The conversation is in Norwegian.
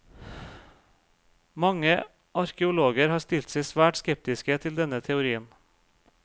Mange arkeologer har stilt seg svært skeptiske til denne teorien.